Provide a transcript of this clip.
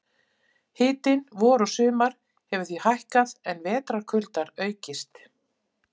Hitinn vor og sumar hefur því hækkað en vetrarkuldar aukist.